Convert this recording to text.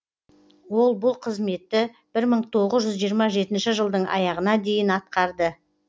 ол бұл қызметті бір мың тоғыз жүз жиырма жетінші жылдың аяғына дейін атқарды